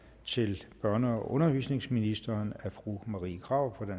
til børne og undervisningsministeren af fru marie krarup